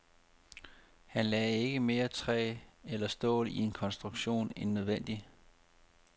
Han lagde ikke mere træ eller stål i en konstruktion end nødvendigt.